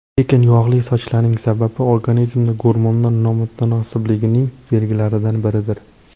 Lekin yog‘li sochlarning sababi organizmda gormonal nomutanosiblikning belgilaridan biridir.